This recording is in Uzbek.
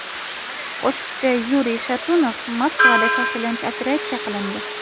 Qo‘shiqchi Yuriy Shatunov Moskvada shoshilinch operatsiya qilindi.